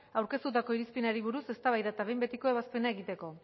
aurkeztutako irizpenari buruzko eztabaida eta behin betiko ebazpena egiteko